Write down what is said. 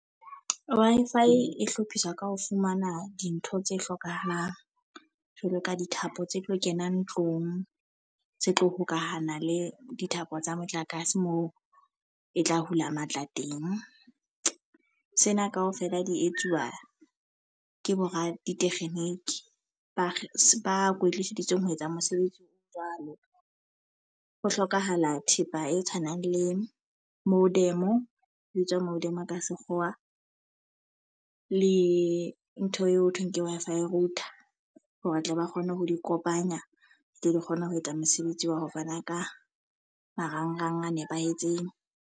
Wi-Fi e hlophiswa ka ho fumana dintho tse hlokahalang. Jwalo ka dithapo tse tlo kenang tlong, tse tlo hokahana le dithapo tsa motlakase moo e tla hula matla teng. Sena ka ofela di etsuwa ke boraditekgeniki ba ba kwetliseditsweng ho etsa mosebetsi o jwalo. Ho hlokahala thepa e tshwanang le modem e bitswa modem ka sekgowa. Le ntho eo thweng ke Wi-Fi router hore a tle ba kgone ho di kopanya, tle di kgona ho etsa mosebetsi wa ho fana ka marangrang a nepahetseng.